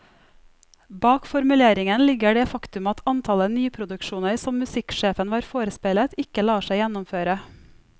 Bak formuleringen ligger det faktum at antallet nyproduksjoner som musikksjefen var forespeilet, ikke lar seg gjennomføre.